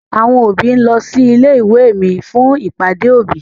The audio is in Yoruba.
Àwọn òbí ń lọ sí ilé ìwé mi fún ìpàdé òbí.